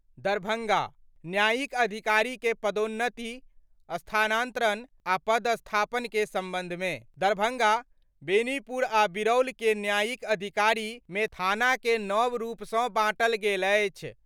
दरभंगा : न्यायिक अधिकारी के पदोन्नति, स्थानांतरण आ पदस्थापन के संबंध मे दरभंगा, बेनीपुर आ बिरौल के न्यायिक अधिकारी मे थाना के नव रूप सं बांटल गेल अछि।